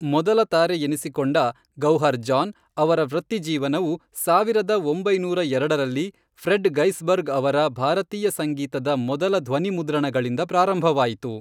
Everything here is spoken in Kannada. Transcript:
ಮೊದಲ ತಾರೆ ಎನಿಸಿಕೊಂಡ ಗೌಹರ್ ಜಾನ್, ಅವರ ವೃತ್ತಿಜೀವನವು ಸಾವಿರದ ಒಂಬೈನೂರ ಎರಡರಲ್ಲಿ ಫ್ರೆಡ್ ಗೈಸ್ಬರ್ಗ್ ಅವರ ಭಾರತೀಯ ಸಂಗೀತದ ಮೊದಲ ಧ್ವನಿಮುದ್ರಣಗಳಿಂದ ಪ್ರಾರಂಭವಾಯಿತು.